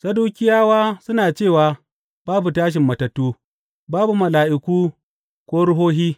Sadukiyawa suna cewa babu tashin matattu, babu mala’iku ko ruhohi.